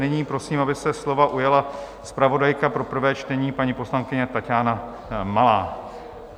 Nyní prosím, aby se slova ujala zpravodajka pro prvé čtení, paní poslankyně Taťána Malá.